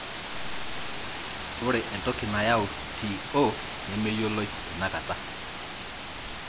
ore entoki nayau TO nemeyioloi tenakata.